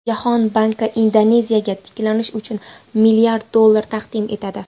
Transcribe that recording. Jahon banki Indoneziyaga tiklanish uchun milliard dollar taqdim etadi.